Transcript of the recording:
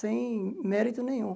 Sem mérito nenhum.